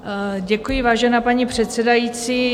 Děkuji, vážená paní předsedající.